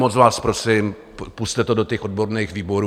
Moc vás prosím, pusťte to do těch odborných výborů.